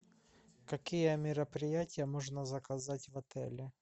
какие мероприятия можно заказать в отеле